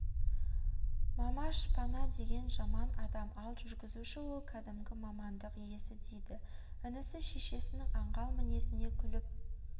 мама шпана деген жаман адам ал жүргізуші ол кәдімгі мамандық иесі дейді інісі шешесінің аңғал мінезіне күліп